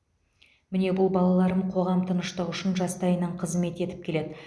міне бұл балаларым қоғам тыныштығы үшін жастайынан қызмет етіп келеді